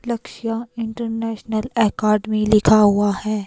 लक्ष्य international academy लिखा हुआ है।